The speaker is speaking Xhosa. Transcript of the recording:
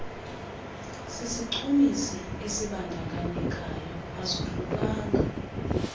sisichumisi esibandakanyekayo azohlukanga